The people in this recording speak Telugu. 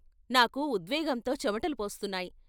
నాకు ఉద్వే గంతో చెమటలు పోస్తున్నాయి.